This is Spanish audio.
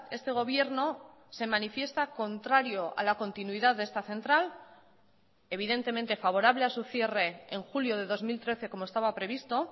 este gobierno se manifiesta contrario a la continuidad de esta central evidentemente favorable a su cierre en julio de dos mil trece como estaba previsto